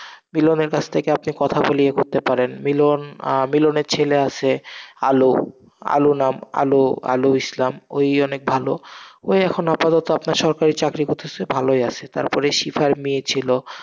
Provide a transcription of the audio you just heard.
মিলনের কাছ থেকে আপনি কথা বলে এগোতে করতে পারেন, মিলন আহ মিলনের ছেলে আসে আলো, আলো নাম, আলো, আলো ইসলাম, ওই অনেক ভালো, ও এখন আপাতত আপনার সরকারি চাকরি করতেসে, ভালোই আসে, তারপরে সিফার মেয়ে ছিল,